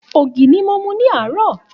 Ògì ni mo mu ní àárò.